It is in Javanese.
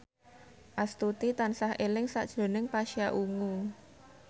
Astuti tansah eling sakjroning Pasha Ungu